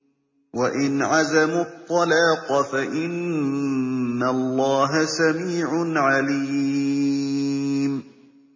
وَإِنْ عَزَمُوا الطَّلَاقَ فَإِنَّ اللَّهَ سَمِيعٌ عَلِيمٌ